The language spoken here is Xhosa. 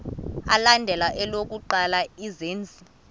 alandela elokuqala izenzi